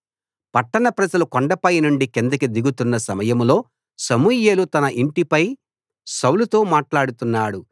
పట్టణ ప్రజలు కొండపై నుండి కిందికి దిగుతున్న సమయంలో సమూయేలు తన ఇంటిపై సౌలుతో మాట్లాడుతున్నాడు